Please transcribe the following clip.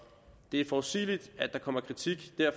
det er forudsigeligt at der kommer kritik